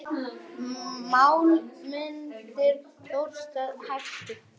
Mál munu þróast hægt.